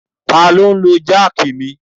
Ta ni ó ń lo jáákì mi?